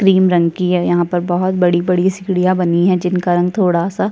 cream रंग की है यहाँ पर बहुत बड़ी -बड़ी सीढ़ियाँ बनी है जिनका रंग थोड़ा- सा --